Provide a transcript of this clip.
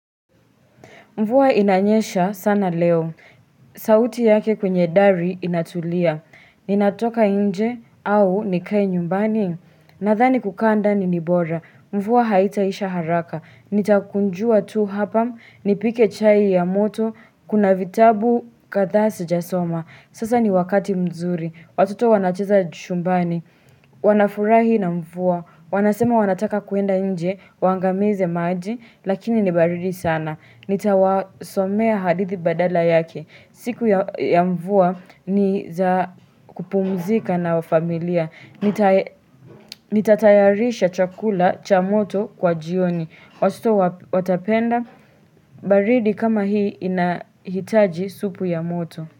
Mvua inanyesha sana leo. Sauti yake kwenye dari inatulia. Ninatoka nje au nikae nyumbani. Nadhani kukaa ndani nibora. Mvua haitaisha haraka. Nitakunjua tu hapa. Nipike chai ya moto. Kuna vitabu kadhaa sijasoma. Sasa ni wakati mzuri. Watoto wanacheza chumbani. Wanafurahi na mvua Wanasema wanataka kuenda nje Waangamize maji Lakini ni baridi sana Nitawasomea hadithi badala yake siku ya mvua ni za kupumzika na wa familia Nitatayarisha chakula cha moto kwa jioni Watoto watapenda baridi kama hii inahitaji supu ya moto.